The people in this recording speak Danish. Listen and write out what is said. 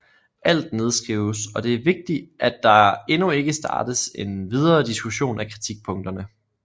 Alt nedskrives og det er vigtig at der endnu ikke startes en videre diskussion af kritikpunkterne